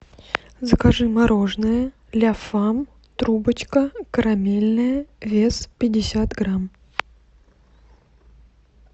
закажи мороженое ляфам трубочка карамельное вес пятьдесят грамм